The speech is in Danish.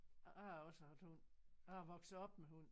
Jeg har også haft hund. Jeg er vokset op med hund